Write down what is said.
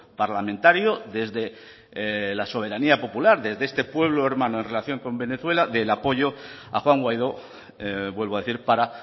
parlamentario desde la soberanía popular desde este pueblo hermano en relación con venezuela del apoyo a juan guaidó vuelvo a decir para